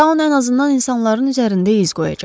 Taun ən azından insanların üzərində iz qoyacaq.